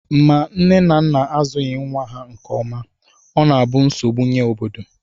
Ma nne na nna azụghị nnwa ha nke ọma, ọ na-abụ nsogbu nye obodo